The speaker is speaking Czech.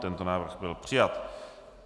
Tento návrh byl přijat.